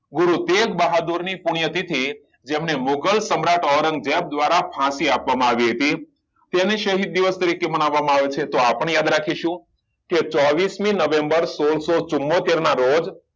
ગુરુતેંજ બહાદુર ની પુણ્ય તિથિ જેમને મુઘલ સમ્રાટ ઓરંગઝેબ દ્વારા ફાંસી આપવામાં આવી હતી તેને શહીદ દિવસ તરીકે માનવામાં આવે છે તો આપણે યાદ રાખીશુ ચોવીસ મી નવેમ્બર સોળસો ચુંમોતેરના રોજ